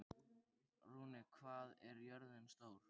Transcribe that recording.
Runi, hvað er jörðin stór?